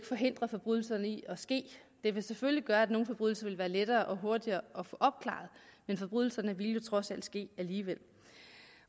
forhindre forbrydelserne i at ske det vil selvfølgelig gøre at nogle forbrydelser vil være lettere og hurtigere at få opklaret men forbrydelser ville jo trods alt ske alligevel